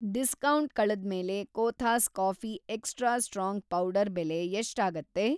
Discount ಕಳೆದ್ಮೇಲೆ Kothas coffee extra strong powder ಬೆಲೆ ಎಷ್ಟಾಗತ್ತೆ?